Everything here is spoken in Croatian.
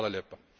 Hvala lijepa